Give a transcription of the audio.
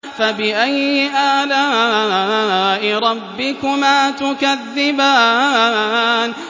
فَبِأَيِّ آلَاءِ رَبِّكُمَا تُكَذِّبَانِ